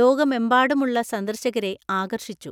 ലോകമെമ്പാടുമുള്ള സന്ദർശകരെ ആകർഷിച്ചു.